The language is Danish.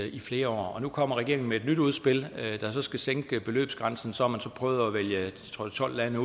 i flere år og nu kommer regeringen med et nyt udspil der så skal sænke beløbsgrænsen så har man så prøvet at vælge tolv lande